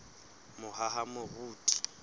mohahamoriti